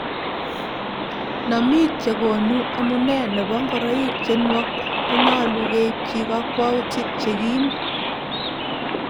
nomiik chekoni omunee nebo ngoroik che nuok ko nyoluu keipchi kakwoutik che kiim